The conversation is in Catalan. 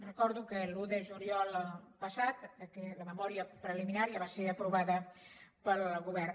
recordo que l’un de juliol passat la memòria preliminar ja va ser aprovada pel govern